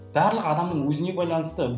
барлығы адамның өзіне байланысты